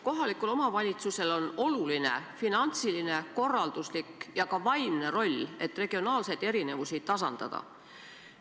Kohalikul omavalitsusel on oluline finantsiline, korralduslik ja ka vaimne roll, et regionaalseid erinevusi tasandada.